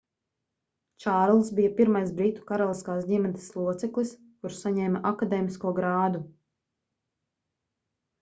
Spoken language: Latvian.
čārlzs bija pirmais britu karaliskās ģimenes loceklis kurš saņēma akadēmisko grādu